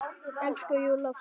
Elsku Júlla frænka.